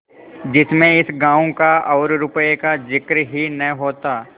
जिसमें इस गॉँव का और रुपये का जिक्र ही न होता